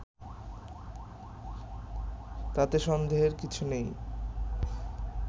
তাতে সন্দেহের কিছু নেই